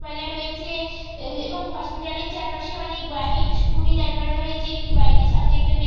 পালা রয়েছে এবং হসপিটাল -এর চারপাশে অনেক বাইক স্কুটি দাঁড় করানো রয়েছে। একটি বাইক -এর সামনে একজন ব্যক্তি--